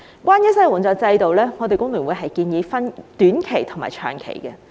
關於失業援助制度，工聯會建議分為短期和長期。